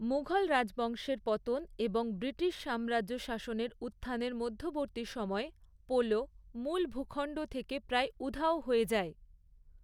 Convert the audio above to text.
মুঘল রাজবংশের পতন এবং ব্রিটিশ সাম্রাজ্য শাসনের উত্থানের মধ্যবর্তী সময়ে, পোলো মূল ভূখণ্ড থেকে প্রায় উধাও হয়ে যায়।